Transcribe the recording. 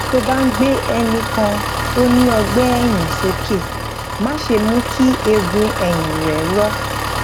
tó o bá ń gbé ẹnì kan tó ní ọgbé èyìn sókè má ṣe mú kí eegun èyìn rè rọ